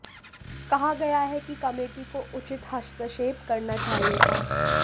कहा गया है कि कमेटी को उचित हस्तक्षेप करना चाहिए था